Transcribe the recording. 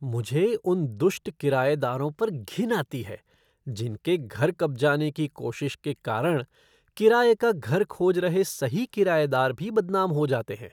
मुझे उन दुष्ट किरायेदारों पर घिन आती है जिनके घर कब्जाने की कोशिश के कारण किराए का घर खोज रहे सही किरायेदार भी बदनाम हो जाते हैं।